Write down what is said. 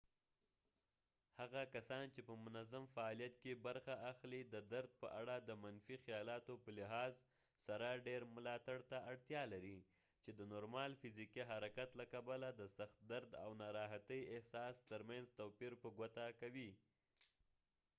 هغه کسان چې په منظم فعالیت کې برخه اخلي د درد په اړه د منفي خيالاتو په لحاظ سره ډیر ملاتړ ته اړتیا لري چې د نورمال فزيکي حرکت له کبله د سخت درد او د ناراحتي احساس ترمينځ توپير په ګوته کوي